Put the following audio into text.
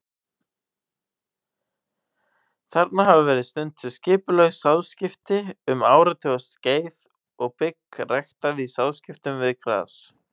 Þarna hafa verið stunduð skipulögð sáðskipti um áratugaskeið og bygg ræktað í sáðskiptum við gras.